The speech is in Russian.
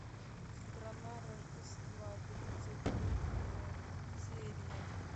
страна рождества тридцать третья серия